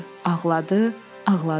Ağladı, ağladı.